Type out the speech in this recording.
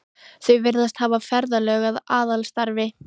Þau virðast hafa ferðalög að aðalstarfi.